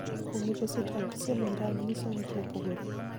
Kuom migosi Trump siemo Iran nyiso wach mopogore.